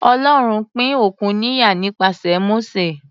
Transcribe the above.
Ọlọ́run pín òkun níyà nípasẹ̀ Mósè.